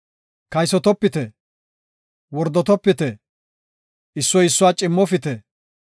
“Kaysotopite. “Wordotopite. “Issoy issuwa cimmofite.